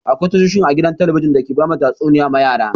Akwai tashoshin a gidan talabijin da ke bada tatsuniya ma yara.